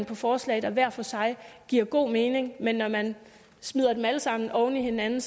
på forslag der hver for sig giver god mening men når man smider dem alle sammen oven i hinanden